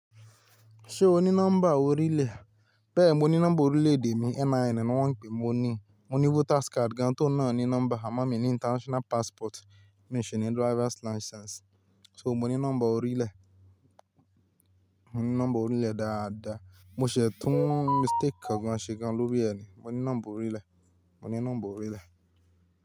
Ṣé o ní nọ́mbà orílẹ̀? Bẹ́ẹ̀, mo ní nọ́mbà orílẹ̀-èdè mi, NIN ni wọ́n ń pè é, mo ní. Mo ní voters card gan-an tó n nà á ní nọ́mbà, àmọ́ mi ní international passport, mi sì ní driver's license. So mo ní nọ́mbà orílẹ̀. Mo ní nọ́mbà orílẹ̀ dáadáa. Mo ṣẹ̀ ẹ̀ tún mistake kan ṣe gan-an lórí ẹ̀ ni. Mo ní nọ́mbà orílẹ̀. Mo ní nọ́mbà orílẹ̀